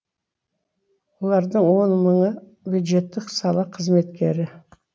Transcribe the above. олардың он мыңы бюджеттік сала қызметкері